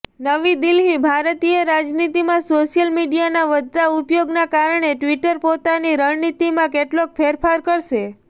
નવી દિલ્હીઃ ભારતીય રાજનીતિમાં સોશિયલ મીડિયાના વધતા ઉપયોગના કારણે ટ્વિટર પોતાની રણનીતિમાં કેટલોક ફેરફાર કરશે